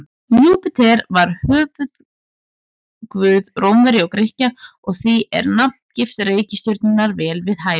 Júpíter var höfuðguð Rómverja og Grikkja og því er nafngift reikistjörnunnar vel við hæfi.